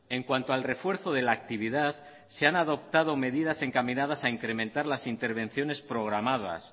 en cuanto al refuerzo de la actividad se han adoptado medidas encaminadas a incrementar las intervenciones programadas